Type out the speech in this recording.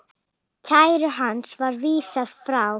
Kæru hans var vísað frá.